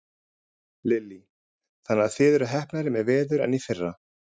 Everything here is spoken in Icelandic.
Lillý: Þannig að þið eruð heppnari með veður en í fyrra?